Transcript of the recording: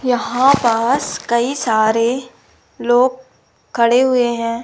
यहां पास कई सारे लोग खड़े हुए हैं।